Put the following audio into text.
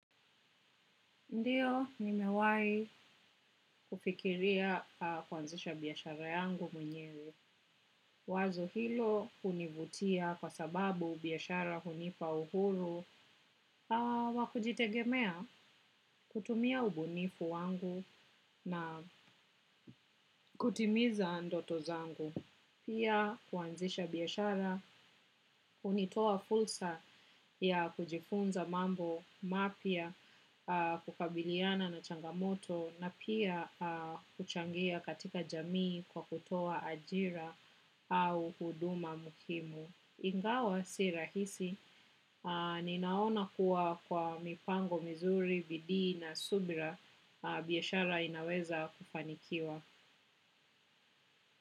Ndiyo, nimewai kufikiria kuanzisha biyashara yangu mwenyewe. Wazo hilo univutia kwa sababu biyashara hunipa uhuru, wakujitegemea, kutumia ubunifu wangu na kutimiza ndoto zangu. Pia kuanzisha biyashara, unitoa fursaha ya kujifunza mambo, mapya kukabiliana na changamoto na pia kuchangia katika jamii kwa kutoa ajiraha au uduma muhimu. Ingawa si rahisi, ninaona kuwa kwa mipango mizuri, bidii na subra, bihashara inaweza kufanikiwa.